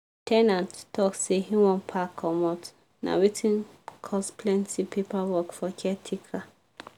the ten ant talk say e wan pack comot na wetin cos plenty paper work for caretaker.